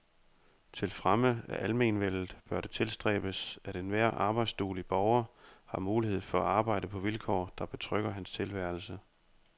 Til fremme af almenvellet bør det tilstræbes, at enhver arbejdsduelig borger har mulighed for arbejde på vilkår, der betrygger hans tilværelse.